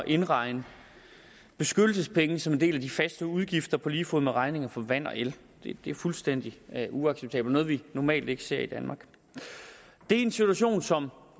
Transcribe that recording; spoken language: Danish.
indregne beskyttelsespenge som en del af de faste udgifter på lige fod med regninger for vand og el det er fuldstændig uacceptabelt og noget vi normalt ikke ser i danmark det er en situation som